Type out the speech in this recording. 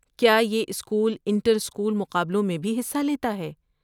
کیا یہ school inter school مقابلوں میں بھی حصہ لیتا ہے؟